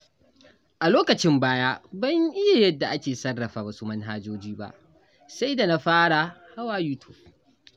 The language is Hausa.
A lokacin baya, ban iya yadda ake sarrafa wasu manhajoji ba sai da na fara hawa YouTube.